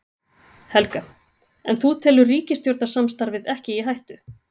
Helga: En þú telur ríkisstjórnarsamstarfið ekki í hættu?